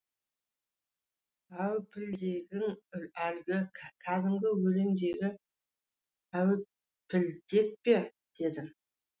әупілдегің әлгі кәдімгі өлеңдегі әупілдек пе дедім